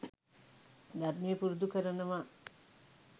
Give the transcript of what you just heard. ධර්මය පුරුදු කරනවා.